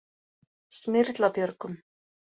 Smyrlabjörgum